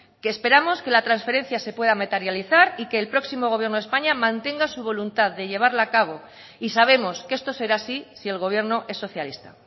que esperamos que la transferencia se pueda materializar y que el próximo gobierno de españa mantenga su voluntad de llevarla a cabo y sabemos que esto será así si el gobierno es socialista